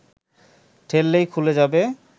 ঠেললেই খুলে যাবে